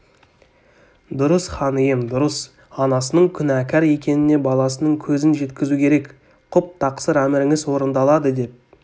дұрыс хан ием дұрыс анасының күнәкар екеніне баласының көзін жеткізу керек құп тақсыр әміріңіз орындалады деп